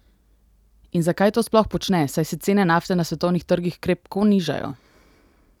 In zakaj to sploh počne, saj se cene nafte na svetovnih trgih krepko nižajo?